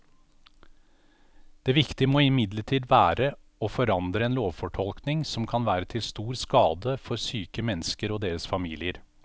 Det viktige må imidlertid være å forandre en lovfortolkning som kan være til stor skade for syke mennesker og deres familier.